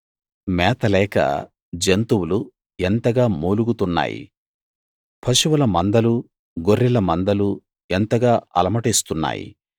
మేత లేక జంతువులు ఎంతగా మూలుగుతున్నాయి పశువుల మందలూ గొర్రెల మందలూ ఎంతగా అలమటిస్తున్నాయి